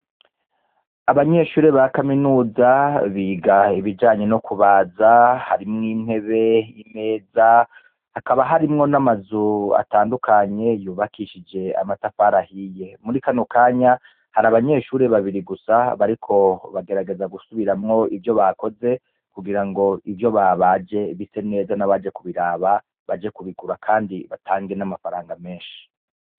Abanyeshure ba kaminuza biga ibijanye no kubaza harimwo intebe imeza hakaba harimwo n'amazu atandukanye yubakishije amatafari ahiye muri kano kanya hari abanyeshure babiri gusa bariko bagerageza gusubiramwo ivyo bakoze kugira ngo ivyo babaje bise neza n'abaje kubiraba baje kubigura, kandi batange n'amafaranga menshi.